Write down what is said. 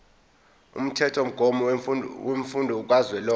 umthethomgomo wemfundo kazwelonke